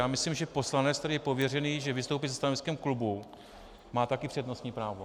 Já myslím, že poslanec, který je pověřený, že vystoupí se stanoviskem klubu, má taky přednostní právo.